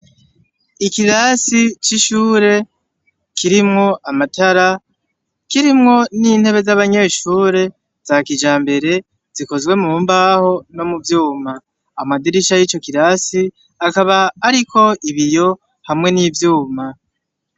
Ikirasi c'ishure kirimwo amatara kirimwo n'intebe z'abanyeshure za kijambere zikozwe mu mbaho no mu vyuma ,amadirisha y'ico kirasi akaba ariko ibiyo hamwe n'ivyuma.